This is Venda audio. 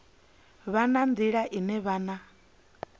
vha na nḓila ine vhana